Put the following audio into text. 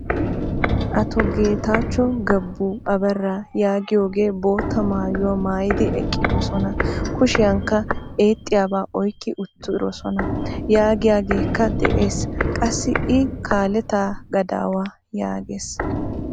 Ato geetacho Gebu Abera yaagiyaagee bootta maayuwa maayidi eqqidosona. kushiyankka eexxiyaba oyqqi uttidosona yaagiyaageekka de'ees. Qassi i kaaleeta gadaawaa yaagees.